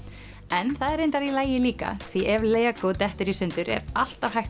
en það er reyndar í lagi líka því ef dettur í sundur er alltaf hægt